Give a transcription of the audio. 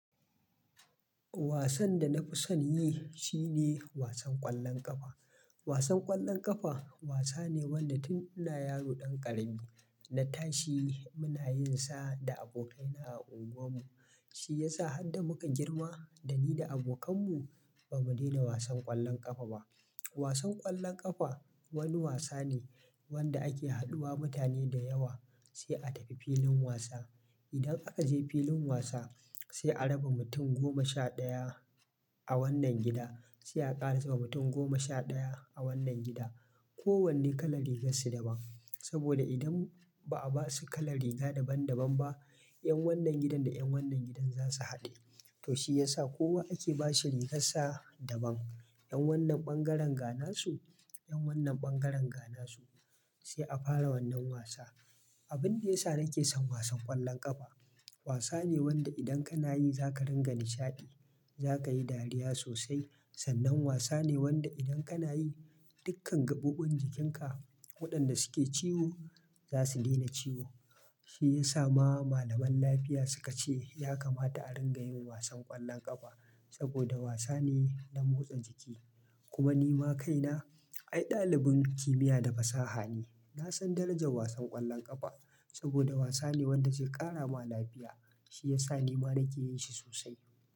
Wasan da na fi son yi shi ne wasan ƙwallon ƙafa. Wasan ƙwallon ƙafa wasa ne wanda tun ina yaro ɗan ƙarami na tashi muna yin sa da abokaina a unguwarmu. Shi ya sa har da muka girma da ni da abokanmu ba mu daina wasan ƙwallon ƙafa ba. Wasan ƙwallon ƙafa wani wasa ne wanda ake haɗuwa mutane da yawa sai a tafi filin wasa. Idan aka je filin wasa sai a raba mutum goma sha ɗaya a wannan gida sai a ƙara sa mutum goma sha ɗaya a wannan gida. Ko wanne kalar rigar su daban. Saboda idan ba a ba su kalar riga daban daban ba, 'yan wannan gidan da 'yan wannan gidan za su haɗe. To shi ya sa kowa ake ba shi rigarsa daban. 'Yan wannan ɓangaren ga nasu, 'yan wannan ɓangaren ga nasu sai a fara wannan wasa. Abin da ya sa nake son wasan ƙwallon ƙafa wasa ne wanda idan kana yi za ka rinƙa nishaɗi, za ka yi dariya sosai. Sannan wasa ne wanda idan kana yi dukkan gaɓoɓin jikinka waɗanda suke ciwo za su daina ciwo. Shi ya sa ma malaman lafiya su ka ce ya kamata a ringa yin wasan ƙwallon ƙafa saboda wasa ne na motsa jiki. Kuma ni ma kaina ai ɗalibin kimiyya da fasaha ne. Na san darajar wasan ƙwallon ƙafa saboda wasa ne wanda zai ƙara ma lafiya. Shi ya sa ni ma nake yin shi sosai.